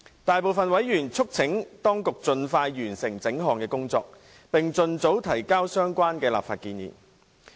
大部分委員促請當局盡快完成整項工作，並盡早提交相關立法建議。